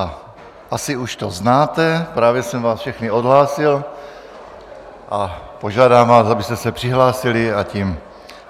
A asi už to znáte, právě jsem vás všechny odhlásil a požádám vás, abyste se přihlásili, a tím